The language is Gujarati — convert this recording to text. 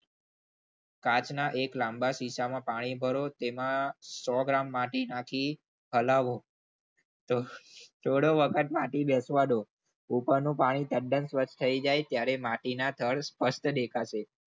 કાચના એક લાંબા ખિસ્સામાં પાણી ભરો તેમાં સો ગ્રામ માટી નાખો પછી હલાવો થોડો વખત માટી બેસવા દો ઉપરનું પાણી તદ્દન સ્વચ્છ થઈ જાય ત્યારે માટીના થર્ડ સ્પષ્ટ દેખાશે.